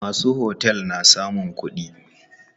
Masu otel na samun kuɗi.